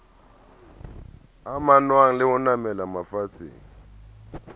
amanngwang le ho namela mafatsheng